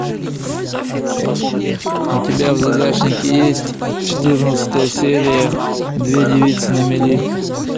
у тебя в загашнике есть четырнадцатая серия две девицы на мели